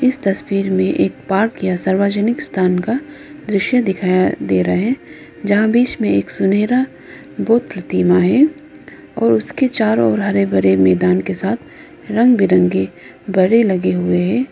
इस तस्वीर में एक पार्क या सार्वजनिक स्थान का दृश्य दिखाई दे रहे जहां बीच में एक सुनहरा बुद्ध प्रतिमा है और उसके चारो ओर हरे भरे मैदान के साथ रंग बिरंगे बड़े लगे हुए है।